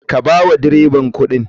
Ka bawa dreban kuɗin.